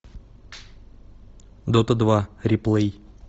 дота два реплей